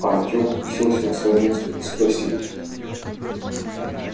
артём уселся на своё место и спросил